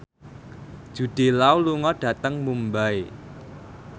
Jude Law lunga dhateng Mumbai